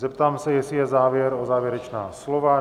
Zeptám se, jestli je zájem o závěrečná slova?